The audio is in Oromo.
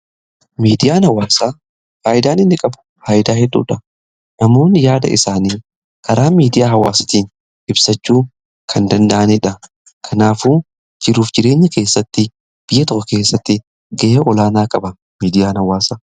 miidiyaan hawwaasa faayidaan inni qabu faayidaa hedduudha. namoonni yaada isaanii karaa miidiyaa hawaasatiin ibsachuu kan danda'anidha. kanaafuu jiruuf jireenya keessatti biyya toko keessatti ga'e olaanaa qaba miidiyaan hawwaasa.